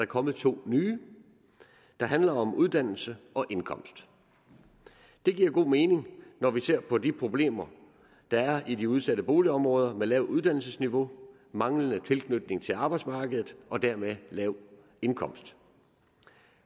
kommet to nye der handler om uddannelse og indkomst det giver god mening når vi ser på de problemer der er i de udsatte boligområder med lavt uddannelsesniveau manglende tilknytning til arbejdsmarkedet og dermed lav indkomst